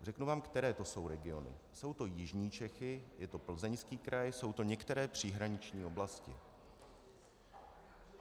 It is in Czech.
Řeknu vám, které to jsou regiony: jsou to jižní Čechy, je to Plzeňský kraj, jsou to některé příhraniční oblasti.